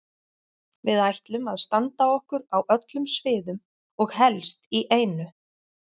Við ætlum að standa okkur á öllum sviðum og helst í einu.